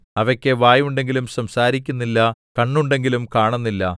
അവയ്ക്കു വായുണ്ടെങ്കിലും സംസാരിക്കുന്നില്ല കണ്ണുണ്ടെങ്കിലും കാണുന്നില്ല